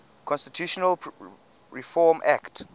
constitutional reform act